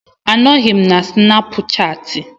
Anọghị m na Snapuchati.